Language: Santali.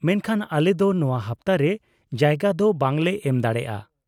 -ᱢᱮᱱᱠᱷᱟᱱ ᱟᱞᱮ ᱫᱚ ᱱᱚᱶᱟ ᱦᱟᱯᱛᱟ ᱨᱮ ᱡᱟᱭᱜᱟ ᱫᱚ ᱵᱟᱝ ᱞᱮ ᱮᱢ ᱫᱟᱲᱮᱭᱟᱜᱼᱟ ᱾